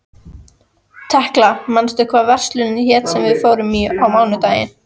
Tekla, manstu hvað verslunin hét sem við fórum í á mánudaginn?